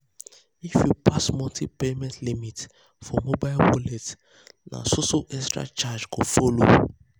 if you pass monthly payment limit for mobile wallet na so so extra charges go follow.